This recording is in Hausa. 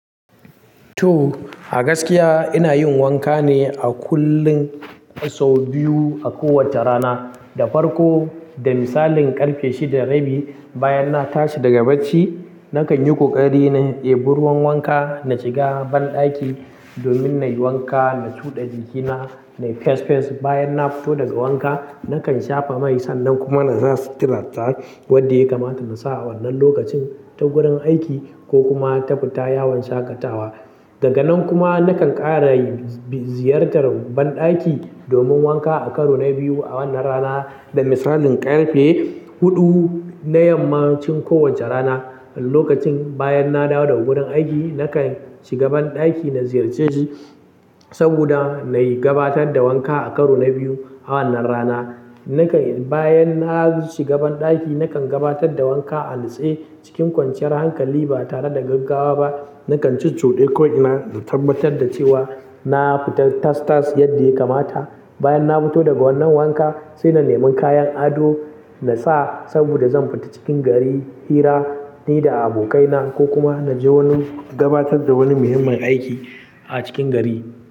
To, a gaskiya ina yin wanka ne a kullum sau biyu a kowacce rana. Da farko, da misalin ƙarfe shida rabi, bayan na tashi daga bacci, nakan yi ƙoƙari na eh bi ruwan wanka, na shiga banɗaki domin na yi wanka, na cuɗa jikina, na yi fes-fes. Bayan na fito daga wanka, nakan shafa mai sannan kuma na sa siturata wadde ya kamata na sa a wannan lokacin ta gurin aiki ko kuma ta fita yawon shaƙatawa. Daganan kuma nakan ƙara ziyartar banɗaki domin wanka a karo na biyu a wannan rana da misalin ƙarfe huɗu na yammacin kowacce rana. Lokacin bayan na dawo daga gurin aiki, nakan shiga banɗaki na ziyarce shi saboda na yi gabatar da wanka a karo na biyu a wannan rana. Nakan, bayan na shiga banɗaki, nakan gabatar da wanka a nutse cikin kwanciyar hankali ba tare da gaggawa ba. Nakan cuccude ko ina na da tabbatar da cewa na fita tas-tas yadda ya kamata. Bayan na fito daga wannan wanka sai na neman kayan ado na sa saboda zan fita cikin gari hira ni da abokaina ko kuma na je wani gabatar da wani muhimmin aiki a cikin gari.